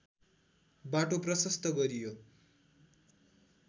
बाटो प्रशस्त गरियो